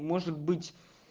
может быть